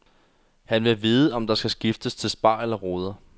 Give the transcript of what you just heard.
Han vil vide om der skal skiftes til spar eller ruder.